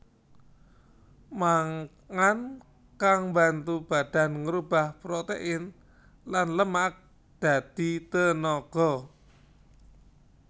Mangan kang mbantu badan ngrubah protèin lan lemak dadi tenaga